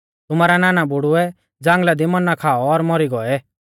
तुमारै नानाबुढ़ुऐ ज़ांगल़ा दी मन्ना खाऔ और मौरी गौऐ